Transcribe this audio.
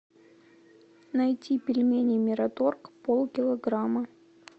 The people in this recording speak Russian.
найти пельмени мираторг полкилограмма